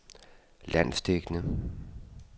landsdækkende